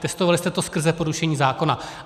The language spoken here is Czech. Testovali jste to skrze porušení zákona.